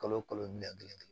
Kalo kalo minɛn kelen kɛ